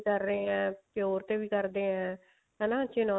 ਕਰ ਰਹੇ ਹਾਂ pure ਤੇ ਵੀ ਕਰਦੇ ਆ